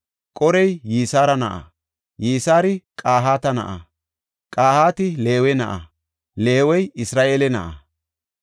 Qorey Yisara na7a; Yisari Qahaata na7a; Qahaati Leewe na7a; Leewey Isra7eele na7a.